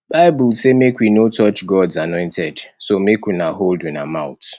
bible say make we no touch gods anointed so make una hold una mouth